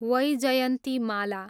Vyjayanthimala